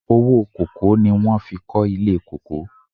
Owó kòkó ni wọhn fi kọ́ ilé kòkó.